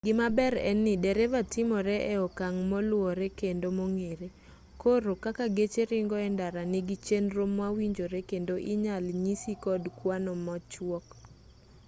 gimaber en ni dereva timore e okang' moluwore kendo mong'ere koro kaka geche ringo e ndara nigi chenro mawinjore kendo inyal nyisi kod kwano machuok